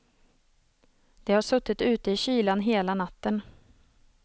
De har suttit ute i kylan hela natten.